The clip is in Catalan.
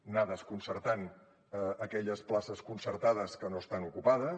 anar desconcertant aquelles places concertades que no estan ocupades